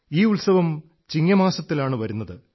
ഈ ഉത്സവം ചിങ്ങമാസത്തിലാണ് വരുന്നത്